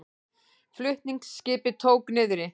Flutningaskip tók niðri